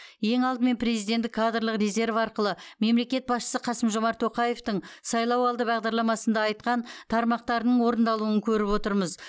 ең алдымен президенттік кадрлық резерв арқылы мемлекет басшысы қасым жомарт тоқаевтың сайлауалды бағдарламасында айтқан тармақтарының орындалуын көріп отырмыз